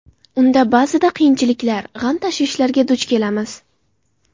Unda ba’zida qiyinchiliklar, g‘am-tashvishlarga duch kelamiz.